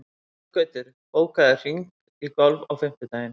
Þorgautur, bókaðu hring í golf á fimmtudaginn.